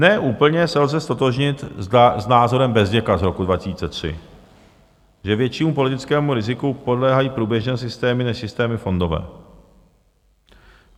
Ne úplně se lze ztotožnit s názorem Bezděka z roku 2003, že většímu politickému riziku podléhají průběžné systémy než systémy fondové.